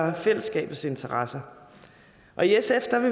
og fællesskabets interesser og i sf